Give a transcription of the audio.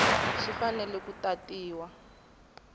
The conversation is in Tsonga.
xi fanele ku tatiwa hi